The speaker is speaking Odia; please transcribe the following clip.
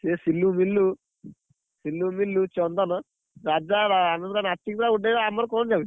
ସେ ସିଲୁ, ମିଳୁ, ସିଲୁ ମିଳୁ, ଚନ୍ଦନ, ରାଜା, ଆନନ୍ଦ ନାଛିକି ପୁରା ଉଡେଇବେ ଆମର କଣ ଯାଉଛି।